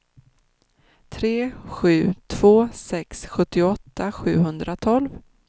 tre sju två sex sjuttioåtta sjuhundratolv